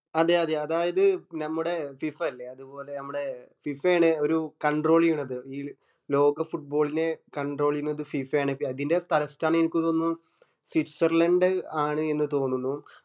അതെ അതെ അതായത് നമ്മടെ ഫിഫ ഇല്ലേ അതുപോലെ നമ്മടെ ഫിഫ ആണ് ഒരു control ചെയ്യന്നത് ഈ ലോക foot ball നെ control ചെയ്ന്നത് ഫിഫ ആണ് അതിന്റെ തലസ്ഥാനം എനക്ക് തോന്നുന്നു സ്വിറ്റ്സർലൻഡ് ആണ് എന്ന് തോന്നുന്നു